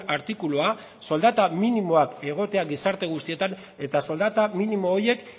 artikulua soldata minimoak egotea gizarte guztietan eta soldata minimo horiek